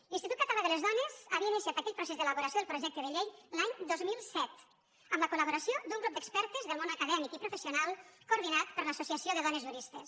l’institut català de les dones havia iniciat aquell pro·cés d’elaboració del projecte de llei l’any dos mil set amb la col·laboració d’un grup d’expertes del món acadè·mic i professional coordinat per l’associació de do·nes juristes